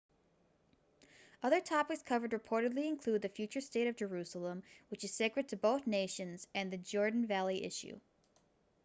other topics covered reportedly include the future state of jerusalem which is sacred to both nations and the jordan valley issue